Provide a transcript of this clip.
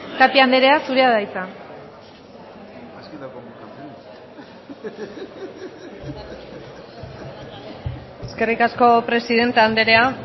tapia andrea zurea da hitza eskerrik asko presidente andrea